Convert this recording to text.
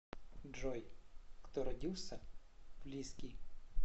джой кто родился в лиски